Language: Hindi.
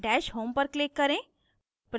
dash home पर click करें